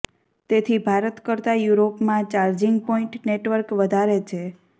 તેથી ભારત કરતા યુરોપમાં ચાર્જિગ પોઈન્ટ નેટવર્ક વધારે છે